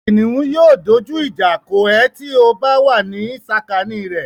Kìnìún yóò dójú ìjà kọ ẹ ti ó bá wà ní sàkání rẹ̀.